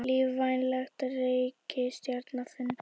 Lífvænleg reikistjarna fundin